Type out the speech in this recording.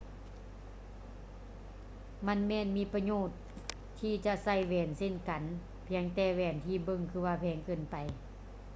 ມັນແມ່ນມີປະໂຫຍດທີ່ຈະໃສ່ແຫວນເຊັ່ນກັນ ພຽງແຕ່ແຫວນທີ່ເບິ່ງຄືວ່າແພງເກີນໄປ